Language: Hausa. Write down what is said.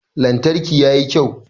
Lantarki ya yi kyau.